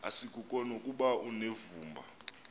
asikuko nokuba unevumba